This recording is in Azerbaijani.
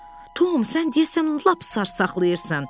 Tom, sən deyəsən lap sarsaqlaşırsan.